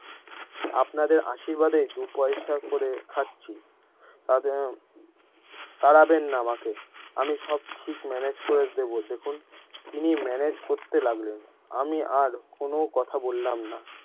আপনাদের আশীর্বাদেই দুই পয়সা করে খাচ্ছি তাতে তাড়াবেননা আমাকে আমি সব ঠিক manage করে দিবো দেখুন তিনি ম্যানেজ করতে লাগলেন আমি আর কোনো কথা বললাম না।